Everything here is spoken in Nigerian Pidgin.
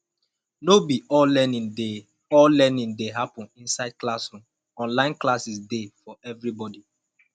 no be all learning dey all learning dey happen inside classroom online classes dey for everybody